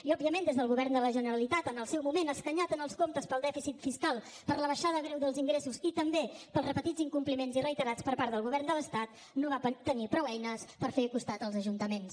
i òbviament el govern de la generalitat en el seu moment escanyat en els comptes pel dèficit fiscal per l’abaixada greu dels ingressos i també pels repetits incompliments i reiterats per part del govern de l’estat no va tenir prou eines per fer costat els ajuntaments